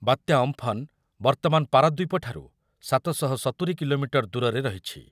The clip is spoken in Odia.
ବାତ୍ୟା ଅମ୍ଫନ୍ ବର୍ତ୍ତମାନ ପାରାଦ୍ୱୀପଠାରୁ ସାତ ଶହ ସତୁରୀ କିଲୋମିଟର ଦୂରରେ ରହିଛି ।